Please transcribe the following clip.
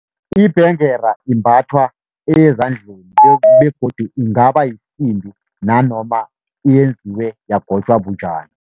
Ibhengela imbathwa ezandleni begodu ingaba yisimbi, nanoma yenziwe yagotjwa bunjani.